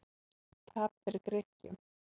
Tap fyrir Grikkjum